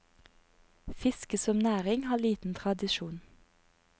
Fiske som næring har liten tradisjon.